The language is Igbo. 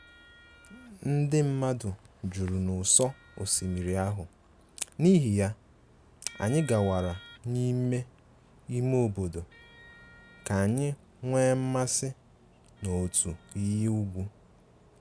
Ndị mmadụ juru n’ụsọ osimiri ahụ, n’ihi ya, anyị gawara n’ime ime obodo ka anyị nwee mmasị n’otu iyi ugwu